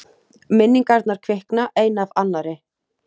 Minningarnar kvikna ein af annarri.